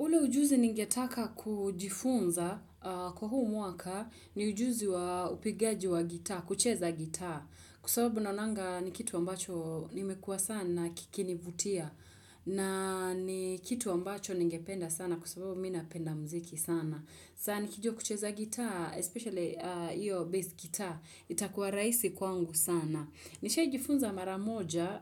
Ule ujuzi ningetaka kujifunza kwa huu mwaka ni ujuzi wa upigaji wa gitaa, kucheza gitaa. Kwa sababu naonanga ni kitu ambacho nimekua sana kikinivutia. Na ni kitu ambacho ningependa sana kwa sababu mimi napenda mziki sana. Sasa nikijua kucheza gitaa, especially hiyo base gitaa, itakuwa rahisi kwangu sana. Nishaijifunza maramoja,